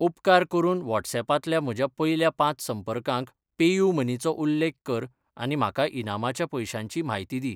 उपकार करून व्हॉट्सऍपांतल्या म्हज्या पयल्या पांच संपर्कांक पेयूमनी चो उल्लेख कर आनी म्हाका इनामाच्या पयशांची म्हायती दी.